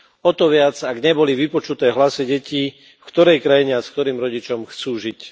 O to viac, ak neboli vypočuté hlasy detí, v ktorej krajine a s ktorým rodičom chcú žiť.